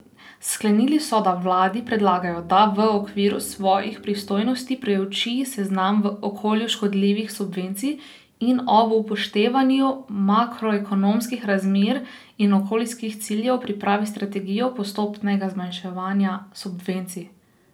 Sklenili so, da vladi predlagajo, da v okviru svojih pristojnosti preuči seznam okolju škodljivih subvencij in ob upoštevanju makroekonomskih razmer in okoljskih ciljev pripravi strategijo postopnega zmanjševanja subvencij.